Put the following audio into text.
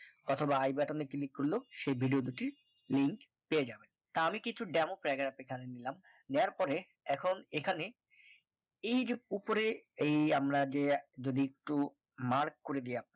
অথবা i button এ করল সেই video দুটির link পেয়ে যাবেন তা আমি কিছু demo paragraph এ এখানে নিলাম নেওয়ার পরে এখন এখানে এই যে উপরে এই আমরা যে এক যদি একটু mark করে দেই আমরা